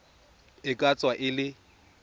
e ka tswa e le